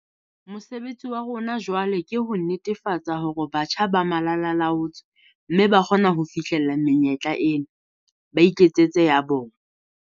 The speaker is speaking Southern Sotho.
Mosebetsi wa rona jwale ke ho netefatsa hore batjha ba malala a laotswe mme ba kgona ho fihlella menyetla ena, ba iketsetse ya bona.